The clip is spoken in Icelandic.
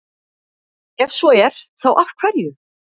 Ef svo er, þá af hverju?